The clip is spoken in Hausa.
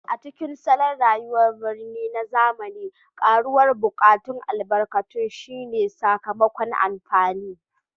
A cikin salon rayuwar birni na zamani, karuwar buƙatun albarkatun shine sakamakon amfani